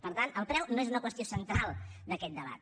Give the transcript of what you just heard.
per tant el preu no és una qüestió central d’aquest debat